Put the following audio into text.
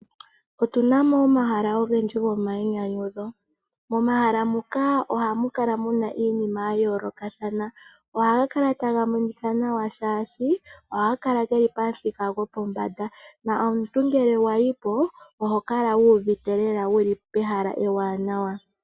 Otuna mo omahala ogendji go mayinyanyudho. Momahala muka oha mukala muna iinima yayoolokathana. Ohaga kala taga monika nawa shaashi ohaga kala pathika gopombada, nongele omuntu a yi po oha kala uuvite lela e li pehala ewanawa.